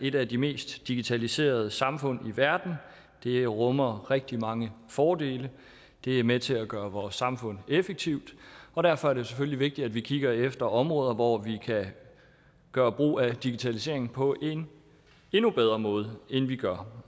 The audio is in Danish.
et af de mest digitaliserede samfund i verden det rummer rigtig mange fordele det er med til at gøre vores samfund effektivt og derfor er det selvfølgelig vigtigt at vi kigger efter områder hvor vi kan gøre brug af digitaliseringen på en endnu bedre måde end vi gør